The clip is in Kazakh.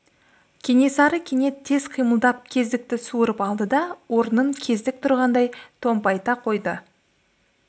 кенесары кенет тез қимылдап кездікті суырып алды да орнын кездік тұрғандай томпайта қойды